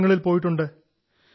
from the school itself